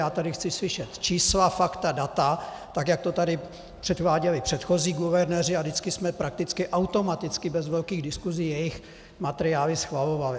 Já tady chci slyšet čísla, fakta, data, tak jak to tady předváděli předchozí guvernéři, a vždycky jsme prakticky automaticky bez velkých diskusí jejich materiály schvalovali.